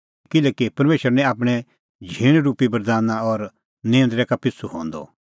किल्हैकि परमेशर निं आपणैं झींण रुपी बरदाना और निऊंद्रै का पिछ़ू हंदअ